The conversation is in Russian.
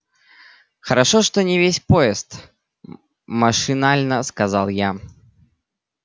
хорошо что не весь поезд машинально сказал я